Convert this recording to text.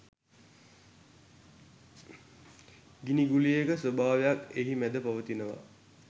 ගිනි ගුලියක ස්වභාවයක් එහි මැද පවතිනවා.